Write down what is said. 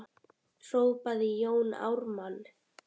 hrópaði Jón Ármann.